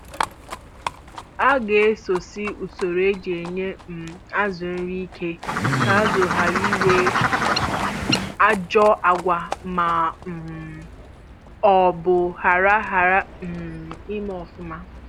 A ga esosi usoro e ji enye um azụ nri ike ka azụ hara ịnwe ajọ agwa ma um ọ bụ hara hara um ime ọfụma